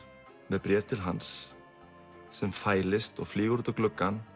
með bréf til hans sem fælist og flýgur út um gluggann